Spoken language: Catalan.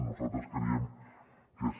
nosaltres creiem que és